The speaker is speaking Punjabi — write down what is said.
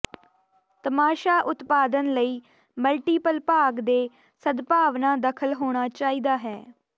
ਤਮਾਸ਼ਾ ਉਤਪਾਦਨ ਲਈ ਮਲਟੀਪਲ ਭਾਗ ਦੇ ਸਦਭਾਵਨਾ ਦਖਲ ਹੋਣਾ ਚਾਹੀਦਾ ਹੈ